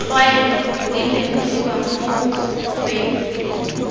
tlwaelo di lemogiwa mo mokgweng